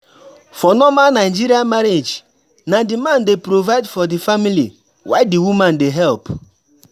For normal Nigerian marriage, na di man dey provide for di family while di woman dey help